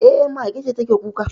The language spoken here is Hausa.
E, mage ce take kuka